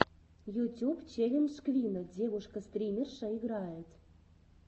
ютюб челлендж квинна девушка стримерша играет